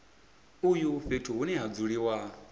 uyu fhethu hune ha dzuliwa